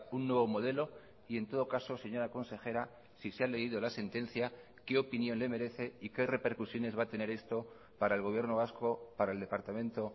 un nuevo modelo y en todo caso señora consejera si se ha leído la sentencia qué opinión le merece y que repercusiones va a tener esto para el gobierno vasco para el departamento